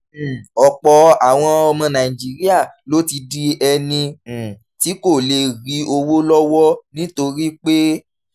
um ọ̀pọ̀ àwọn ọmọ nàìjíríà ló ti di ẹni um tí kò lè rí owó lọ́wọ́ nítorí pé